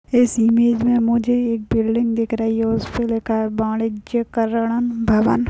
इस इमेज मे मुझे एक बिल्डिंग दिख रही है उसपे लिखा है बाणिज्यकरणन् भवन।